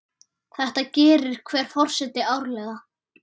Þetta gerir hver forseti árlega.